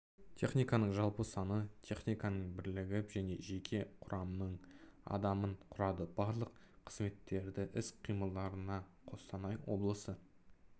техниканың жалпы саны техниканың бірлігін және жеке құрамның адамын құрады барлық қызметтердің іс-қимылдарына қостанай облысы